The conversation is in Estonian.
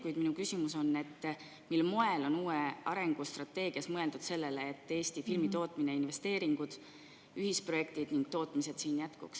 Kuid minu küsimus on, mil moel on uues arengustrateegias mõeldud sellele, et Eesti filmitootmine, investeeringud sellesse ja ühisprojektid siin jätkuks.